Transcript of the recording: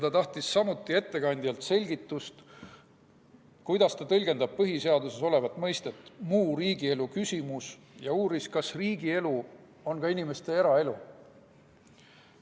Ta tahtis samuti ettekandjalt selgitust, kuidas see tõlgendab põhiseaduses olevat mõistet "muu riigielu küsimus", ja uuris, kas riigielu on inimeste eraelu.